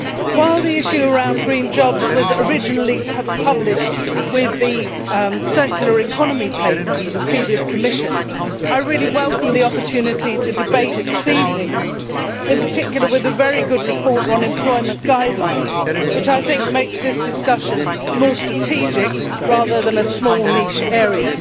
While the issue around green jobs was originally to have been published with the circular economy paper with the previous Commission, I really welcome the opportunity to debate it this evening, in particular with a very good report on employment guidelines, which I think makes this discussion more strategic, rather than a small niche area.